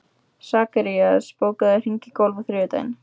Sakarías, bókaðu hring í golf á þriðjudaginn.